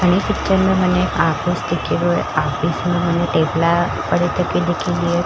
अनी पिक्चर में मने ऑफिस दिखीरयो है ऑफिस में मने टेबला पड़े पडि तकी दीखिर।